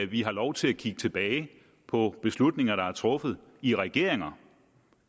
vi har lov til at kigge tilbage på beslutninger der er truffet i regeringer